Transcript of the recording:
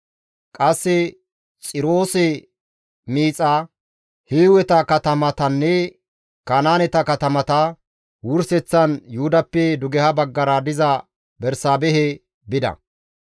Qasse Xiroose miixa, Hiiweta katamatanne Kanaaneta katamata, wurseththan Yuhudappe dugeha baggara diza Bersaabehe bida.